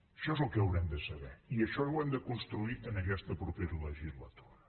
això és el que haurem de saber i això ho hem de construir en aquesta propera legislatura